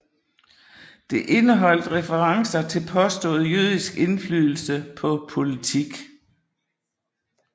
Det indeholdt referencer til påstået jødisk indflydelse på politik